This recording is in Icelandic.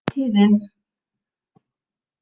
Vertíðin er aðeins hálfnuð